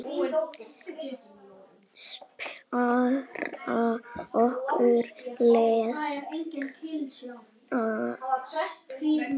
Spara orku. elskast hægt!